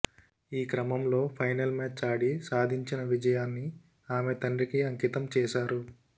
ఈ క్రమంలో final match ఆడి సాధించిన విజయాన్ని ఆమె తండ్రికి అంకితం చేశారు